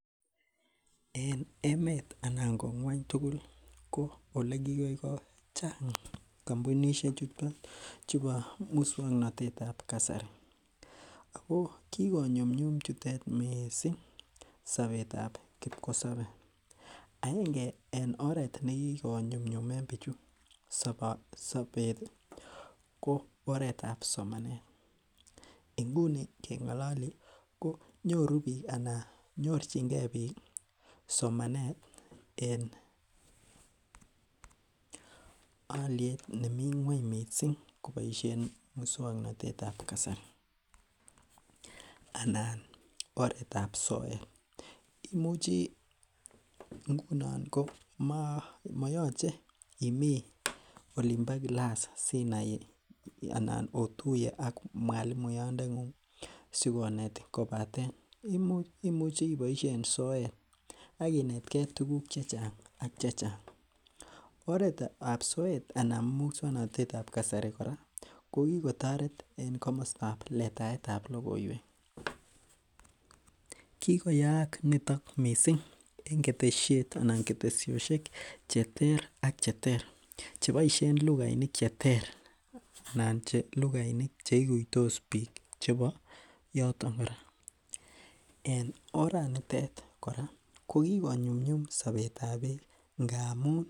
En emet anan ko ngwony tugul ko olekigoi ko chang kampunisiek chuton chubo muswongnotet ab kasari ako kikonyumnyum chutet missing sobetab kipkosobe aenge en oret nekikonyumnyumen bichu sobet ih ko oretab somanet nguni keng'ololi konyoru biik ana nyorchingee biik somanet en oliet nemii ng'weny missing koboisien muswongnotet ab kasari anan oret ab soet imuchi ngunon ko moyoche imii olin bo class sinai anan otuye ak mwalimuat ndeng'ung kobaten imuchi iboisien soet ak inetgee tuguk chechang ak chechang oret ab soet anan muswongnotet ab kasari kora kokitoret en komostab letaetab logoiwek kigoyaak niton missing en ketesiet anan ketesosiek cheter ak cheter cheboisien lugainik cheter ana che lugainik cheikuitos biik chebo yoton kora en oranitet kora kokikonyumnyum sobetab biik ngamun